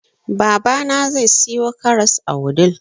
babana zai siyo karas a wudil